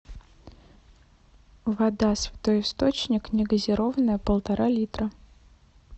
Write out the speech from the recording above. вода святой источник негазированная полтора литра